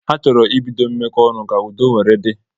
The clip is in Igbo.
Ha chọrọ ibido mmeko onu ka udo nwere di